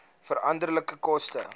veranderlike koste